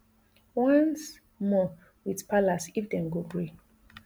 once more wit palace if dem go gree